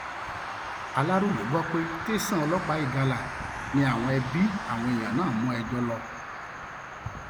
aláròye gbọ pé tẹsán ọlọpàá ìgalà ni àwọn ẹbí àwọn èèyàn náà mú ẹjọ lọ